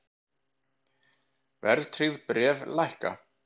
Verðtryggð bréf lækka